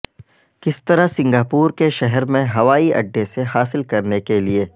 کس طرح سنگاپور کے شہر میں ہوائی اڈے سے حاصل کرنے کے لئے